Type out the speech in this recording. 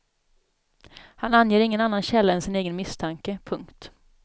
Han anger ingen annan källa än sin egen misstanke. punkt